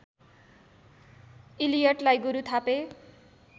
इलियटलाई गुरु थापे